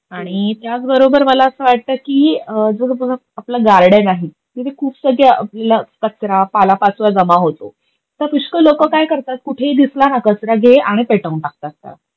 आणि त्याच बरोबर मला अस वाटत की, जो आपल गार्डन आहे तिथे खूप सगळ्या आपल्याला कचरा, पालापाचोळा जमा होतो, तर पुष्कळ लोक काय करतात कुठेही दिसला हा कचरा, घे आणि पेटवून टाकत त्याला.